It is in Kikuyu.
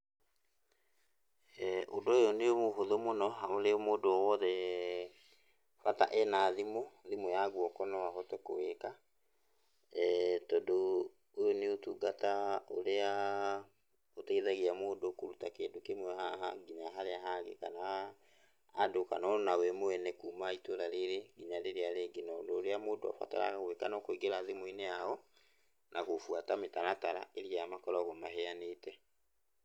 Ũndũ ũyũ nĩ mũhũthũ mũno harĩ mũndũ wothe bata ena thimũ. Thimũ ya guoko no ahote kũwĩka. Tondũ ũyũ nĩ ũtungata ũrĩa ũteithagia mũndũ kũruta kĩndũ kĩmwe haha kinya harĩa hangĩ kana andũ ana ona we mwene kuma itũra rĩrĩ kinya rĩrĩa rĩngĩ, na ũndũ ũrĩa mũndũ abataraga gwĩka no kũingĩra thimũ-inĩ yao, na gũbũata mĩtaratara ĩrĩa makoragwo maheanĩte.